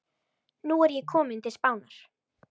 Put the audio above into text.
Nú er ég kominn til Spánar.